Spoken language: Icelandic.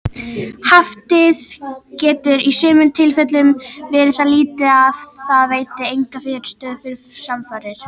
Haftið getur í sumum tilfellum verið það lítið að það veiti enga fyrirstöðu við samfarir.